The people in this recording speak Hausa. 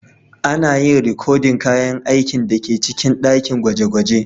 Ana yin rikodin kayan aikin da ke cikin dakin gwaje-gwaje.